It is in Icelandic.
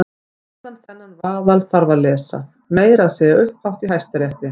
Og allan þennan vaðal þarf að lesa- meira að segja upphátt í Hæstarétti!